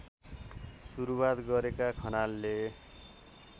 सुरूवात गरेका खनालले